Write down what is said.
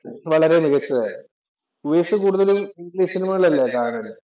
വളരെ മികച്ചതായിരുന്നു. ഉപേഷ് കൂടുതലും ഇംഗ്ലീഷ് സിനിമകള്‍ അല്ലേ കാണല്.